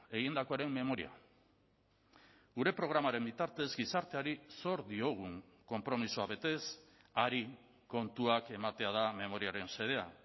egindakoaren memoria gure programaren bitartez gizarteari zor diogun konpromisoa betez hari kontuak ematea da memoriaren xedea